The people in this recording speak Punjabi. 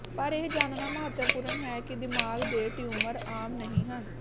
ਪਰ ਇਹ ਜਾਣਨਾ ਮਹੱਤਵਪੂਰਨ ਹੈ ਕਿ ਦਿਮਾਗ਼ ਦੇ ਟਿਊਮਰ ਆਮ ਨਹੀਂ ਹਨ